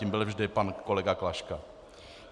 Tím byl vždy pan kolega Klaška.